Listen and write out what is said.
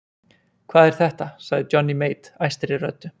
Hvað er þetta sagði Johnny Mate æstri röddu.